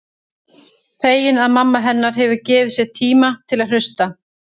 Fegin að mamma hennar hefur gefið sér tíma til að hlusta.